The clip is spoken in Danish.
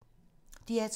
DR2